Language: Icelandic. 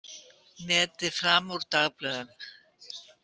Netið fram úr dagblöðum